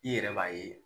I yɛrɛ b'a ye